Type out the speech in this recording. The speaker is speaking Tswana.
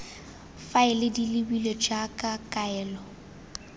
faele di lebilwe jaaka kaelo